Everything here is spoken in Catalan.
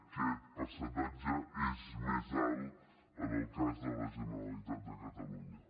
aquest percentatge és més alt en el cas de la generalitat de catalunya